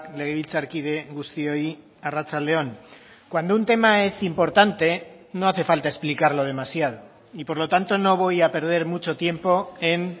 legebiltzarkide guztioi arratsalde on cuando un tema es importante no hace falta explicarlo demasiado y por lo tanto no voy a perder mucho tiempo en